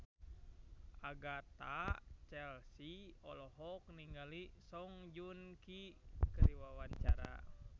Agatha Chelsea olohok ningali Song Joong Ki keur diwawancara